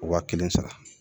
Waa kelen sara